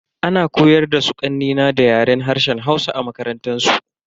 Ana koyar da su kanne na da Yaren harshen Hausa a makarantansu.